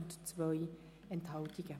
Auf die Massnahme ist zu verzichten.